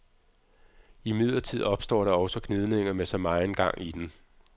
Imidlertid opstår der også gnidninger med så megen gang i den.